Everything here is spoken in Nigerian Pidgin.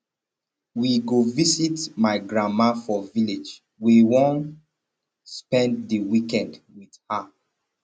we go visit my grandma for village we wan spend di weekend wit her